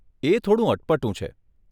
એ થોડું અટપટું છે.